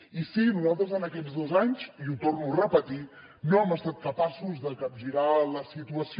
i sí nosaltres en aquests dos anys i ho torno a repetir no hem estat capaços de capgirar la situació